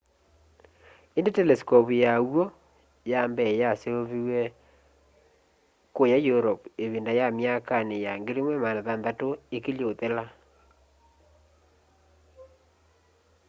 indi telescope ya w'o ya mbee yaseovĩwe kũya europe ivinda ya myakani ya 1600 ikilye kuthela